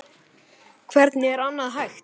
Hvernig er annað hægt?